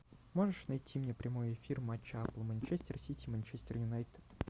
можешь найти мне прямой эфир матча апл манчестер сити манчестер юнайтед